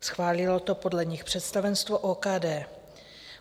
Schválilo to podle nich představenstvo OKD.